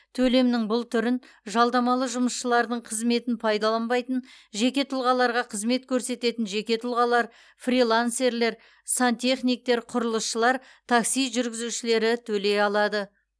төлемнің бұл түрін жалдамалы жұмысшылардың қызметін пайдаланбайтын жеке тұлғаларға қызмет көрсететін жеке тұлғалар фрилансерлер сантехниктер құрылысшылар такси жүргізушілері төлей алады